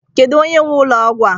Kedu onye nwe ụlọ ọgwụ a?